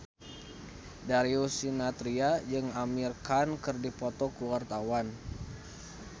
Darius Sinathrya jeung Amir Khan keur dipoto ku wartawan